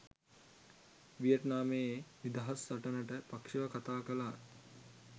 වියට්නාමයේ නිදහස් සටනට පක්ෂව කතා කළා